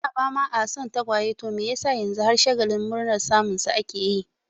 A da ba'a ma son tagwaye to me yasa yanzu har shagalin murnar samun su ake yi?